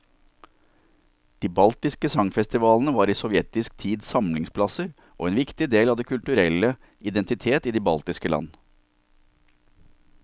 De baltiske sangfestivalene var i sovjetisk tid samlingsplasser og en viktig del av den kulturelle identitet i de baltiske land.